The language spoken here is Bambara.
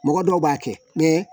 Mɔgɔ dɔw b'a kɛ